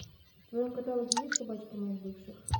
в твоем каталоге есть собачки моих бывших